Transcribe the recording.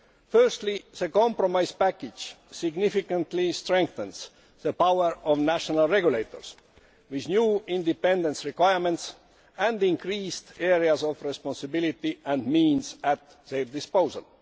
Firstly, the compromise package significantly strengthens the power of national regulators, with new independence requirements and increased areas of responsibility and means at their disposal.